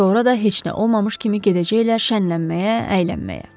Sonra da heç nə olmamış kimi gedəcəklər şənənməyə, əylənməyə.